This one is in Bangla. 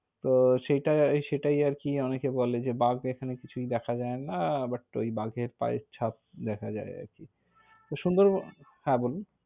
তো সেটাই আ~ সেটাই আর কি, অনেক এ বলে, যে বাঘ এখানে কিছুই দেখা যায় না। But ঐ বাঘের পায়ের ছাপ দেখা যায় আরকি। তো সুন্দরবন হ্যাঁ বলুন।